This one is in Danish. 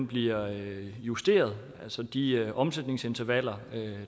bliver justeret altså at de omsætningsintervaller